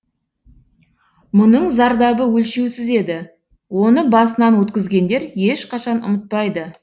мұның зардабы өлшеусіз еді оны басынан өткізгендер ешқашан ұмытпайды